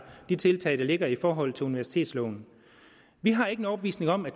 de tiltag der ligger i forhold til universitetsloven vi har ikke en overbevisning om at